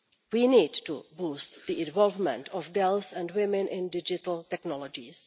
We need to boost the involvement of girls and women in digital technologies.